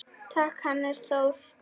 Takk, Hannes Þór.